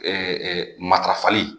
Ɛɛ matarafali